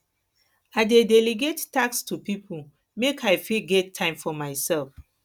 i dey delegate tasks to pipo make i fit get time for mysef